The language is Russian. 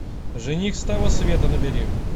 жених с того света набери